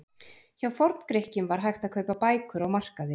Hjá Forngrikkjum var hægt að kaupa bækur á markaði.